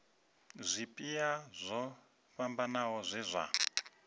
zwipia zwo fhambanaho zwe zwa